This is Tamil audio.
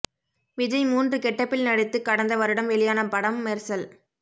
விஜய் மூன்று கெட்டப்பில் நடித்து கடந்த வருடம் வெளியான படம் மெர்சல்